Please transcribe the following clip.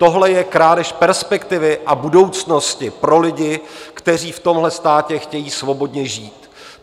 Tohle je krádež perspektivy a budoucnosti pro lidi, kteří v tomhle státě chtějí svobodně žít.